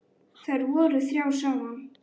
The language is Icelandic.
Þær voru þrjár saman.